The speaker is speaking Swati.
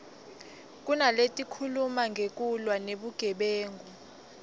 kunaletikhuluma ngekulwa nebugebengu